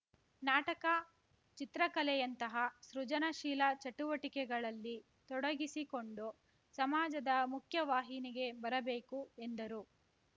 ನಾಟಕ ಚಿತ್ರಕಲೆಯಂತಹ ಸೃಜನಶೀಲ ಚಟುವಟಿಕೆಗಳಲ್ಲಿ ತೊಡಗಿಸಿಕೊಂಡು ಸಮಾಜದ ಮುಖ್ಯವಾಹಿನಿಗೆ ಬರಬೇಕು ಎಂದರು